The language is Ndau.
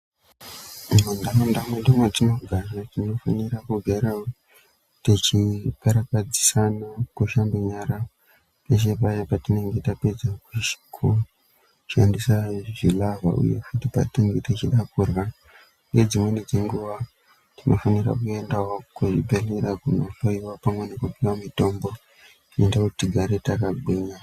Mumanharaunda mwedu mwatinogara tinofanire kugarawo techikarakadzisana kushambe nyara peshe paya patinenge tapedza kushandise zvilavha uye futi patinenge techida kurya uye dzimweni dzenguwa tinofanira kuendawo kuzvibhehlerya kunohloyiwa pamwe nekuhinwa mitombo inoite kuti tigare takagwinya.